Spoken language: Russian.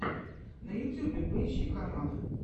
на ютьюбе поищи каналы